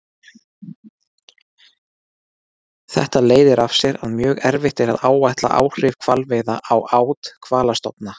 Þetta leiðir af sér að mjög erfitt er að áætla áhrif hvalveiða á át hvalastofna.